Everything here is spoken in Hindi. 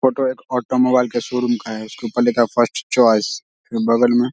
फोटो एक ऑटो मोबाईल का सोरूम का है इसके ऊपर लिखा हुआ है फस्ट चॉइस बगल मे --